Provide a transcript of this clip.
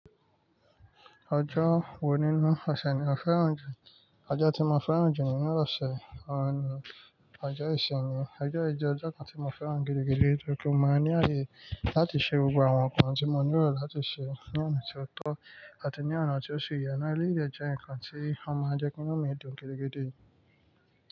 Ọjọ́ wo nínú ọ̀sẹ̀ ni ẹ fẹ́ràn jù? Ọjọ́ tí mo fẹ́ràn jù nínú ọ̀ṣẹ̀ ọ̀nà rẹ, ọjọ́ ìsinmi. Ọjọ́ yìí jẹ́ ọjọ́ kan tí mo fẹ́ràn gidi gidi torípé mo máa ń ní ayé láti ṣe gbogbo àwọn nǹkan tí mo nílò láti ṣe ní ọ̀nà tí ó tọ́ àti ní ọ̀nà tí ó ṣe iyá. Ẹleyii de jẹ́ nǹkan tí ó máa ń jẹ́ kí inu mi dùn gidi gidi.